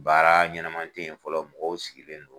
Baara ɲɛnɛman tɛ yen fɔlɔ mɔgɔw sigilen don.